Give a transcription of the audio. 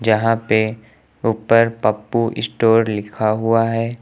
यहां पे ऊपर पप्पू स्टोर लिखा हुआ है।